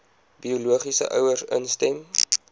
biologiese ouers instem